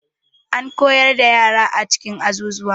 Ana koyar da yara a cikin azuzuwa.